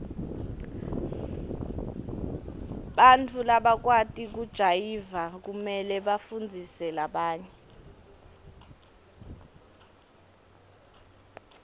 bantfu labakwati kujayiva kumele bafundzise labanye